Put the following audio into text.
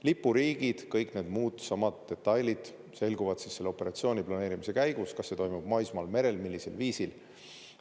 Lipuriigid, kõik need muud samad detailid selguvad selle operatsiooni planeerimise käigus, kas see toimub maismaal, merel, millisel viisil.